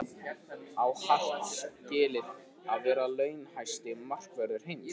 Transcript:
Á Hart skilið að vera launahæsti markvörður heims?